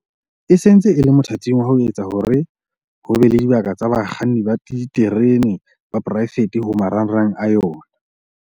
e se ntse e le mothating wa ho etsa hore ho be le dibaka tsa bakganni ba diterene ba poraefete ho marangrang a yona.